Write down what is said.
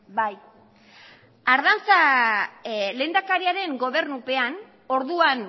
bai ardanza lehendakariaren gobernupean orduan